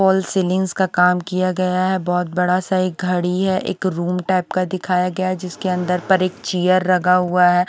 Hall false ceilings का काम किया गया है बोहोत बड़ासा एक घड़ी है एक रूम टाइप का दिखाया गया है जिसके अंदर पर एक चेयर लगा हुआ है।